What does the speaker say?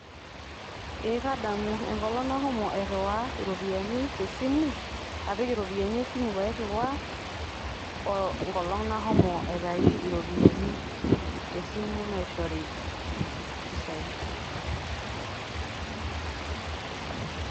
ee kadamu. enkolong' nashomo aiiwaa iropiyiani te simu, apik iropiyiani te simu, enkolong' nashomo aitayu iropiyiani te simu naishori mpisai.